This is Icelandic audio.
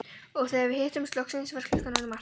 Og þegar við hittumst loksins var klukkan orðin margt.